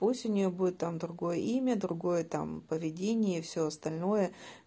осенью будет там другое имя другое там поведение и все остальное